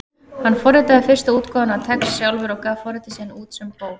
Hann forritaði fyrstu útgáfuna af TeX sjálfur og gaf forritið síðan út sem bók.